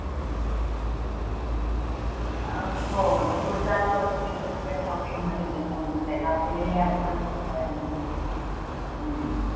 हो पुढच्या आठवड्यात तर तिच्यासाठी सगळं shopping मध्ये जाते तर आपल्याला या आठवड्यात करावे लागेल